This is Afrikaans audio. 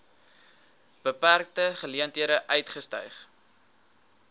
beperkte geleenthede uitgestyg